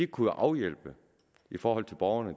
kunne afhjælpe i forhold til borgerne